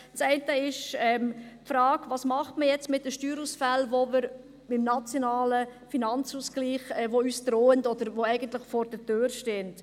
Das eine betrifft die Frage, was man jetzt mit den Steuerausfällen macht, die uns beim NFA drohen oder die eigentlich vor der Tür stehen.